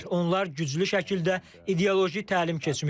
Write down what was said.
Onlar güclü şəkildə ideoloji təlim keçmişdilər.